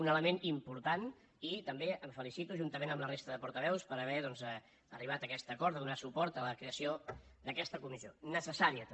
un element important i també em felicito juntament amb la resta de portaveus per haver doncs arribat a aquest acord de donar suport a la creació d’aquesta comissió necessària també